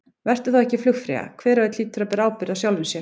Vertu þá ekki flugfreyja, hver og einn hlýtur að bera ábyrgð á sjálfum sér.